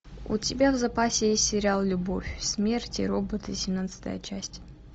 у тебя в запасе есть сериал любовь смерть и роботы семнадцатая часть